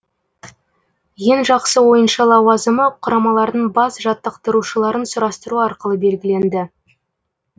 ең жақсы ойыншы лауазымы құрамалардың бас жаттықтырушыларын сұрастыру арқылы белгіленді